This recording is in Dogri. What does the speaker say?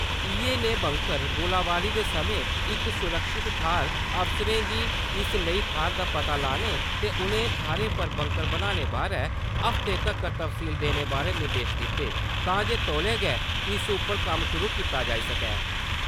इये ने बंकर गोलाबारी दे समय इक सुरक्षित थाहर अफसरें गी इस लेई थाहर दा पता लाने ते उनें थाहरें पर बंकर बन्ने बारै हफते तक्कर तफसील देने बारै निर्देश दिते तां जे तौले गै इस उप्पर कम्म शुरु किता जाई सकै ।